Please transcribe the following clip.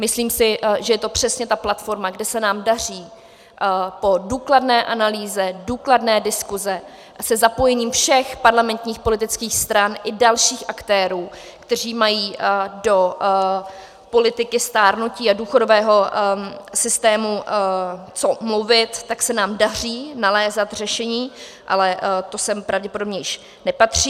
Myslím si, že je to přesně ta platforma, kde se nám daří po důkladné analýze, důkladné diskusi se zapojením všech parlamentních politických stran i dalších aktérů, kteří mají do politiky stárnutí a důchodového systému co mluvit, tak se nám daří nalézat řešení, ale to sem pravděpodobně již nepatří.